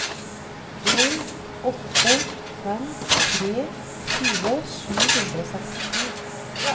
en åtte fem tre tjue sju hundre og sekstito